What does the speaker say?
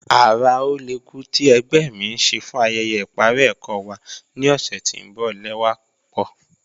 Ara ọlẹ́kù ti ẹ̀gbẹ́ mi n ṣè fún ayẹyẹ iparí ẹkọ wa ni ọṣẹ̀ tí n bọ lẹwa pupọ.